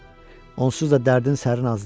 Onsuz da dərdin sərin az deyil.